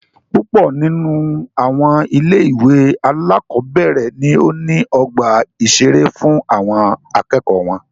Púpọ nínú àwọn ilé ìwé alákọ̀berẹ̀ ní o ní ọgbà ìṣeré fún àwọn akẹ́kọ̀ọ́ wọn.